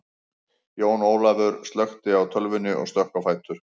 Jón Ólafaur slökkti á tölvunni og stökk á fætur.